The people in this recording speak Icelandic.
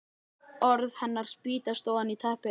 Orð hennar spýtast ofan í teppið.